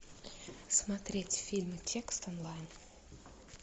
смотреть фильм текст онлайн